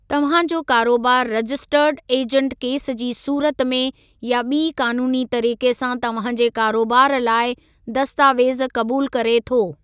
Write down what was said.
तव्हां जो कारोबार रजिस्टर्ड ऐजंटु केस जी सूरत में या ॿी क़ानूनी तरीक़े सां तव्हां जे कारोबार लाइ दस्तावेज़ कबूल करे थो।